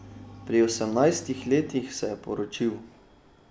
Pri osemnajstih letih se je poročil.